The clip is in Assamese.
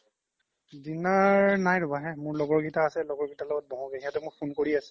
dinner নাই ৰবা হে মোৰ লগৰ কেইটা আছে লগৰ কেইটাৰ লগত বহু গে সিহঁতে মোক phone কৰি আছে